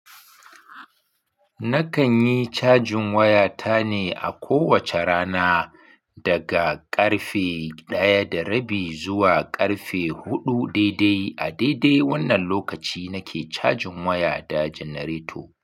Nakan yi cajin waya ta ne a kowacce rana daga ƙarfe ɗaya da rabi zuwa ƙarfe huɗu daidai. A daidai wannan lokaci nake cajin waya da janareto.